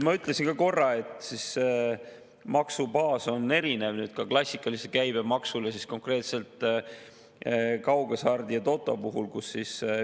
Ma ütlesin korra, et maksubaas on erinev ka klassikalise käibemaksu puhul konkreetselt kaughasart ja totol.